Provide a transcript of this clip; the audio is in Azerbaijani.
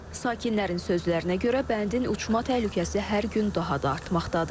Sakinlərin sözlərinə görə bəndin uçma təhlükəsi hər gün daha da artmaqdadır.